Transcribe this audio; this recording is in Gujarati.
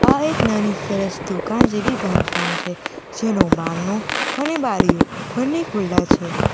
અહીં એક નાની સરસ દુકાન જેવી બાંધકામ છે જેનું બારણું અને બારીઓ બંને ખુલ્લા છે.